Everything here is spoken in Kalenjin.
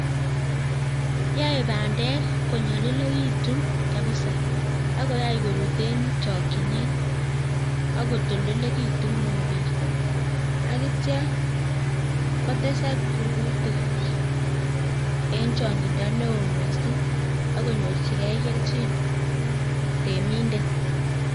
Yoe bandek konyolilekitun kapisa akoyai korut en chokyinet akotoldolekitun mobek, akitya kotesak rurutik en chong'indo neo missing akonyorchigei kelchin temindet